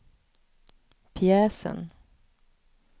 pjäsen